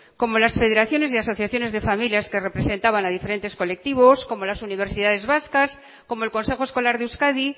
como las federaciones y asociaciones de familias que representaban a diferentes colectivos como las universidades vascas como el consejo escolar de euskadi